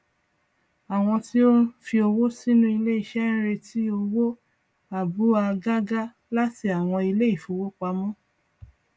àwọn tí ó fi owó sínú ilé iṣẹ ń retí owó àbúa gágá láti àwọn ilé ifówopàmọ